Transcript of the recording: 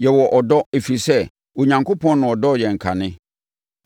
Yɛwɔ ɔdɔ, ɛfiri sɛ, Onyankopɔn na ɔdɔɔ yɛn kane.